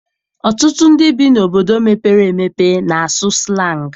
Ọtụtụ ndị bi n'obodo mepere emepe na-asụ sịlangị.